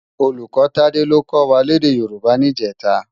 Ólúkò Tade ló kò wá lèdè Yoruba nijètå